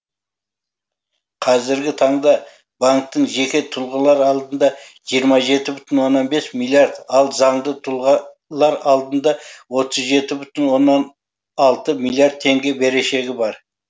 қазіргі таңда банктың жеке тұлғалар алдында жиырма жеті бүтін оннан бес миллиард ал заңды тұлға алдында отыз жеті бүтін оннан алты миллиард теңге берешегі бар